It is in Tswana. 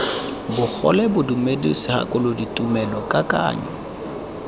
bogole bodumedi segakolodi tumelo kakanyo